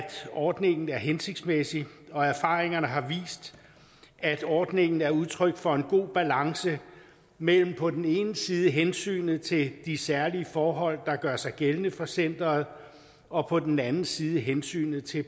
ordningen er hensigtsmæssig og erfaringerne har vist at ordningen er udtryk for en god balance mellem på den ene side hensynet til de særlige forhold der gør sig gældende for centeret og på den anden side hensynet til